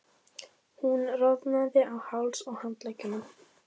Hún roðnaði á hálsi og handleggjum.